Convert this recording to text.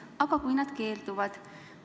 "Aga kui nad keelduvad?"